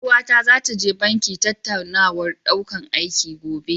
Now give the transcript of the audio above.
Ƴar uwata zata je banki tattaunawar ɗaukan aiki, gobe.